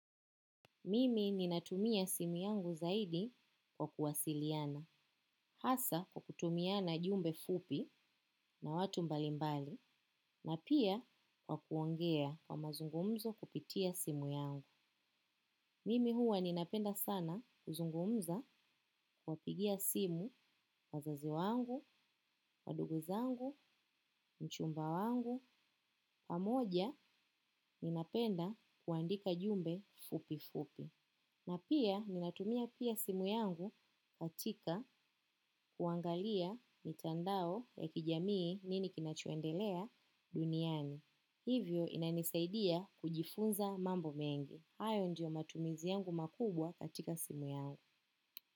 Mimi ninatumia simu yangu zaidi kwa kuwasiliana. Hasa kwa kutumiana jumbe fupi na watu mbalimbali na pia kwa kuongea kwa mazungumzo kupitia simu yangu. Mimi huwa ninapenda sana kuzungumza kuwa pigia simu wazazi wangu, waduguzangu, mchumba wangu, pamoja ninapenda kuandika jumbe fupi fupi. Na pia ninatumia pia simu yangu katika kuangalia mitandao ya kijamii nini kinachoendelea duniani. Hivyo inanisaidia kujifunza mambo mengi. Hayo ndio matumizi yangu makubwa katika simu yangu.